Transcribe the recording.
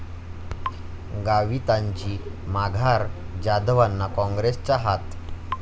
गावितांची माघार, जाधवांना काँग्रेसचा 'हात'